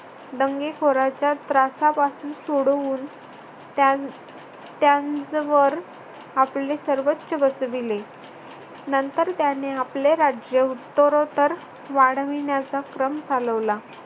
दंगे खोराच्या त्रासापासून सोडवून त्यांचं त्यांचवर आपले सर्वंच्य बसविले. नंतर त्याने आपले राज्य उत्तरोत्तर वाढविण्याचा क्रम चालवला.